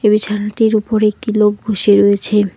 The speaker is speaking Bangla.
বিছানাটির উপর একটি লোক বসে রয়েছে।